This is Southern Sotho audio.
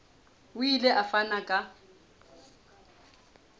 o ile a fana ka